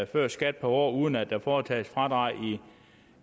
før skat om året uden at der foretages fradrag